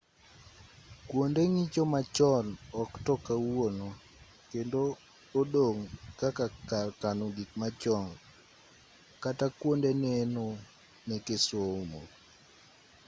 kuonde ng'icho machon ok to kawuono kendo odong' kaka kar kano gik machon kata kuonde neno meke somo